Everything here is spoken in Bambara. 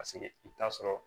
Paseke i bi t'a sɔrɔ